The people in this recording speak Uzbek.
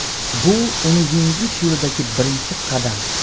Bu uni yengish yo‘lidagi birinchi qadam.